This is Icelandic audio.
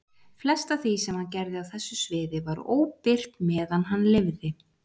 Flest af því sem hann gerði á þessu sviði var óbirt meðan hann lifði.